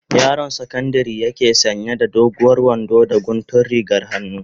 Yaron sakandari yake sanya da doguwar wando da guntun rigar hannu.